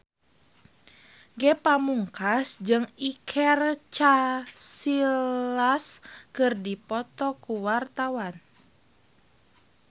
Ge Pamungkas jeung Iker Casillas keur dipoto ku wartawan